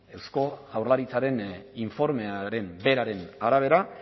eusko jaurlaritzaren informearen beraren arabera